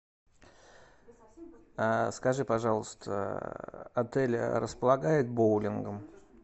скажи пожалуйста отель располагает боулингом